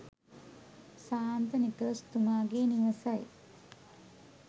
ශාන්ත Nicholas තුමාගේ නිවසයි.